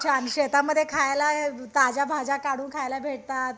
छान शेतामध्ये खायला ताज्या भाज्या काढून भेटतात